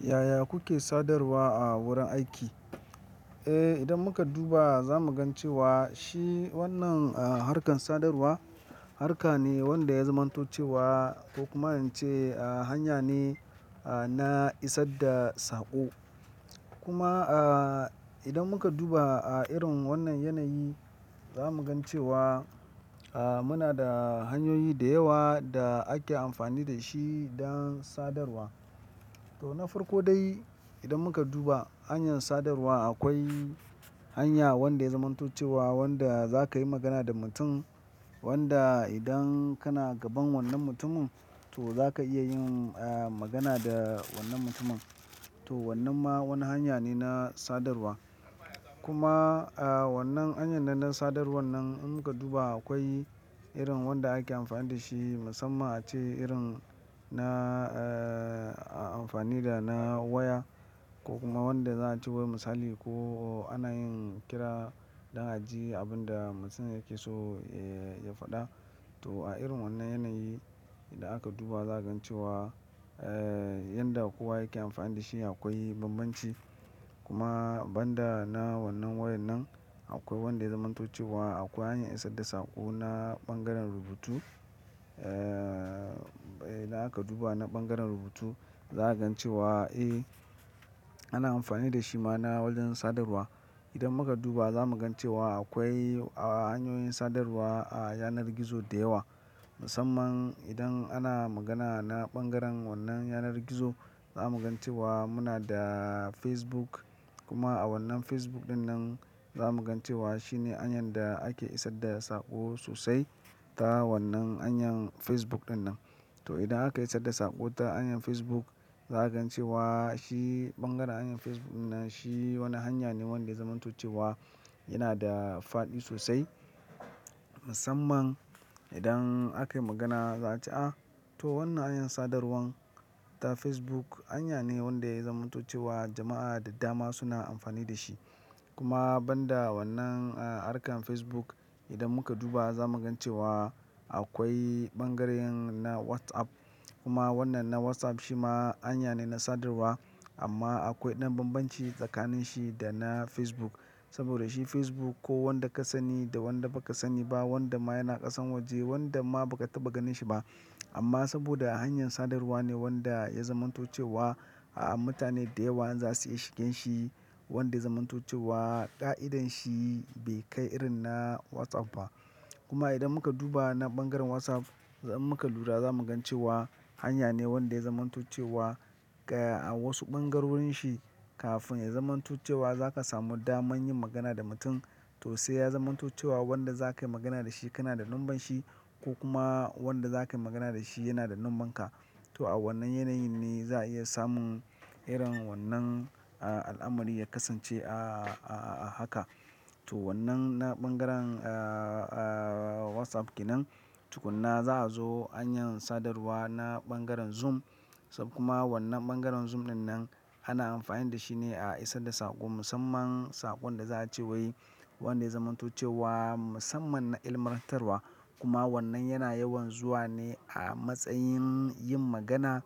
Yaya kuke sadarwa a wurin aiki? Eh, idan muka duba za mu gan cewa shi wannan, ah, harkan sadarwa, harka ne wanda ya zamanto cewa ko kuma in ce, ah, hanya ne, ah, na isar da saƙo. Kuma, ah, idan muka duba a irin wannan yanayi za mu gan cewa, ah, muna da hanyoyi da yawa da ake amfani da shi don sadarwa. To na farko dai idan muka duba hanyan sadarwa akwai hanya wanda ya zamanto cewa wanda za ka yi magana da mutun wanda idan kana gaban wannan mutumin to za ka iya yin, ah, magana da wannan mutumin. To wannan ma wani hanya ne na sadarwa. Kuma, ah, wannan hanyan nan na sadarwan nan in muka duba akwai irin wanda ake amfani da shi musamman ace irin na, ah, amfani da na waya ko kuma wanda za a ce wai misali ko ana yin kira don a ji abun da mutun yake so, eh, ya faɗa. To a irin wannan yanayi idan aka duba za a gan cewa, eh, yanda kowa yake amfani da shi akwai bambanci. Kuma banda na wannan wayan nan akwai wanda ya zamanto cewa akwai hanyan isar da saƙo na ɓangaren rubutu. Eh, idan aka duba na ɓangaren rubutu za a gan cewa, eh, ana amfani da shi ma na wajen sadarwa. Idan muka duba za mu gan cewa akwai, ah, hanyoyin sadarwa a yanar gizo da yawa musamman idan ana magana na ɓangaren wannan yanar gizo za mu gan cewa muna da Facebook kuma a wannan Facebook ɗin nan za mu gan cewa shine hanyan da ake isar da saƙo sosai ta wannan hanyan Facebook ɗin nan. To idan aka isar da saƙo ta hanyan Facebook za a gan cewa shi ɓangaren hanyan Facebook in nan shi wani hanya ne wanda ya zamanto cewa yana da fadi sosai musamman idan akai magana za a ce a to wannan hanyan sadarwan ta Facebook hanya ne wanda ya zamanto cewa jama'a da dama suna amfani da shi. Kuma banda wannan, ah, harkan Facebook idan muka duba za mu gan cewa akwai ɓangaren na WhatsApp kuma wannan na WhatsApp shi ma hanya ne na sadarwa amma akwai ɗan bambanci tsakanin shi da na Facebook saboda shi Facebook ko wanda ka sani da wanda ba ka sani ba wanda ma yana ƙasan waje wanda ma ba ka taɓa ganin shi ba amma saboda hanyan sadarwa ne wanda ya zamanto cewa, ah, mutane da yawa in za su iya shigen shi wanda ya zamanto cewa ƙa'idanshi bai kai irin na WhatsApp ba. Kuma idan muka duba na ɓangaren WhatsApp in muka lura za mu gan cewa hanya ne wanda ya zamanto cewa, ah, a wasu ɓangarorin shi kafin ya zamanto cewa za ka samu dama yin magana da mutum to sai ya zamanto cewa wanda za kai magana da shi kana da nomban shi ko kuma wanda za kai magana da shi yana da nomban ka. To a wannan yanayin ne za a iya samun irin wannan, ah, al'amari ya kasance, ah, a haka. To wannan na ɓangaren, ah, ah, WhatsApp kenan tukunna za a zo hanyan sadarwa na ɓangaren Zoom kuma wannan ɓangaren Zoom ɗin nan ana amfani da shi ne a isar da saƙo musamman saƙon da za a ce wai wanda ya zamanto cewa musamman na ilmantarwa kuma wannan yana yawan zuwa ne a matsayin yin magana